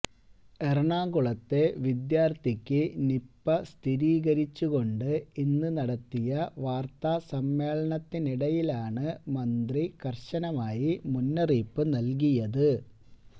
എറണാകുളത്തെ വിദ്യാര്ത്ഥിയ്ക്ക് നിപ സ്ഥിരീകരിച്ച് കൊണ്ട് ഇന്ന് നടത്തിയ വാര്ത്താ സമ്മേളനത്തിനിടയിലാണ് മന്ത്രി കര്ശനമായി മുന്നറിയിപ്പ് നല്കിയത്